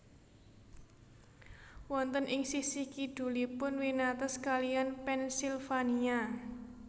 Wonten ing sisih kidulipun winates kaliyan Pennsylvania